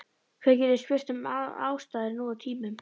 Hver getur spurt um ástæður nú á tímum?